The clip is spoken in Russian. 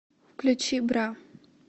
включи бра